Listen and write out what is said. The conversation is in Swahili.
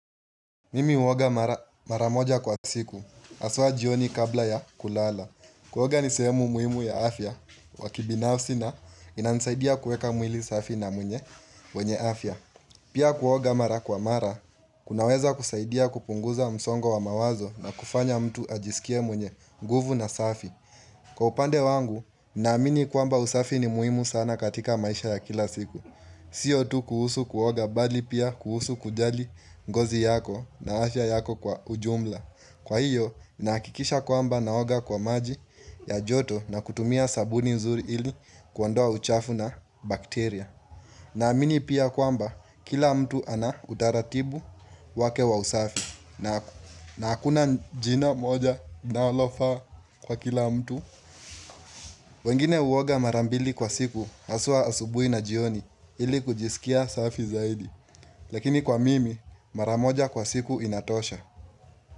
Mimi huoga mara moja kwa siku, haswa jioni kabla ya kulala. Kuoga ni sehemu muhimu ya afya, wa kibinafsi na inansaidia kueka mwili safi na mwenye, mwenye afya. Pia kuoga mara kwa mara, kunaweza kusaidia kupunguza msongo wa mawazo na kufanya mtu ajisikie mwenye, nguvu na safi. Kwa upande wangu, naamini kwamba usafi ni muhimu sana katika maisha ya kila siku. Sio tu kuhusu kuoga bali pia kuhusu kujali ngozi yako na afya yako kwa ujumla Kwa hiyo nahakikisha kwamba naoga kwa maji ya joto na kutumia sabuni nzuri ili kuondoa uchafu na bakteria na amini pia kwamba kila mtu ana utaratibu wake wa usafi na hakuna jina moja naalofa kwa kila mtu wengine huoga mara mbili kwa siku haswa asubui na jioni ili kujisikia safi zaidi Lakini kwa mimi mara moja kwa siku inatosha.